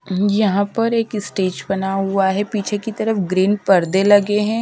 यहां पर एक स्टेज बना हुआ है पीछे की तरफ ग्रीन पर्दे लगे हैं।